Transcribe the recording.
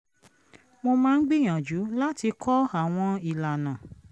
mo máa ń gbìyànjú láti kọ́ àwọn ìlànà